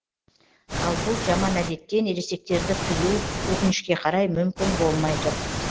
ал бұл жаман әдеттен ересектерді тыю өкінішке қарай мүмкін болмай тұр